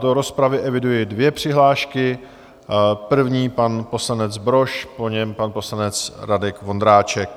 Do rozpravy eviduji dvě přihlášky, první pan poslanec Brož, po něm pan poslanec Radek Vondráček.